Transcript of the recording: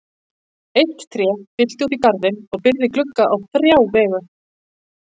Eitt tré fyllti út í garðinn og byrgði glugga á þrjá vegu.